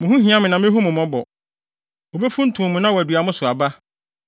Mo ho hia me na mehu mo mmɔbɔ; wobefuntum mo na wɔadua mo so aba,